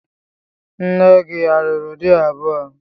Nne gị a lụrụ di abụọ?